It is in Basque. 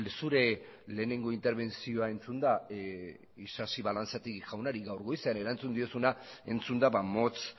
zure lehenengo interbentzioa entzunda isasi balanzategi jaunari gaur goizean erantzun diozuna entzunda motz